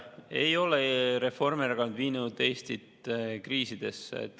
Ei ole Reformierakond viinud Eestit kriisidesse.